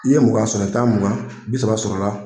I ye mugan sɔrɔ i bi taa mugan bi saba sɔrɔla.